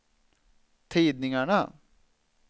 tidningarna